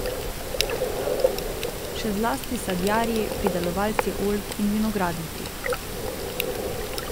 Še zlasti sadjarji, pridelovalci oljk in vinogradniki.